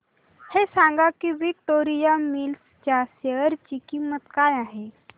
हे सांगा की विक्टोरिया मिल्स च्या शेअर ची किंमत काय आहे